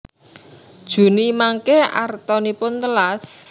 Juni mangke artanipun telas?